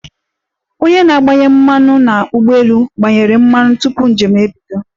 Onye na-agbanye mmanụ n'ụgbọelu gbanyere mmanụ tupu njem ebido.